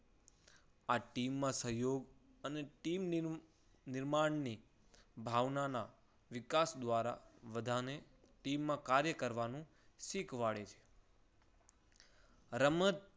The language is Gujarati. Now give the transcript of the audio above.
આ team ના સહયોગ અને team ના નિર્માણની ભાવનાના વિકાસ દ્વારા બધાને team માં કાર્ય કરવાનું શીખવાડે છે. રમત